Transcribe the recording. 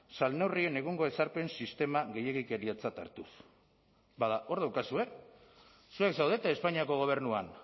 salneurrien egungo ezarpen sistema gehiegikeriatzat hartuz bada hor daukazue zuek zaudete espainiako gobernuan